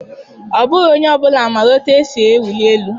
Ọ bụghị onye ọ bụla maara otú e si ewuli elu.